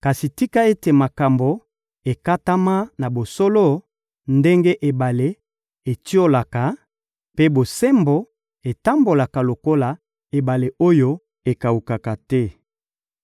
Kasi tika ete makambo ekatama na bosolo ndenge ebale etiolaka, mpe bosembo etambola lokola ebale oyo ekawukaka te.